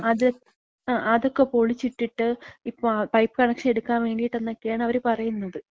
അത്. അ. അതൊക്കെ പൊളിച്ചിട്ടിട്ട് ഇപ്പം പൈപ്പ് കണക്ഷൻ എട്ക്കാൻ വേണ്ടീട്ട്ന്നൊക്കെയാണ്‌ അവര് പറയ്ന്നത്.